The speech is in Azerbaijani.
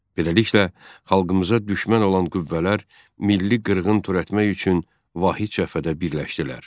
Beləliklə, xalqımıza düşmən olan qüvvələr milli qırğın törətmək üçün vahid cəbhədə birləşdilər.